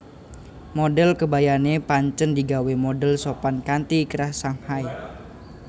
Modhel kebayané pancen digawé modhel sopan kanthi krah Shanghai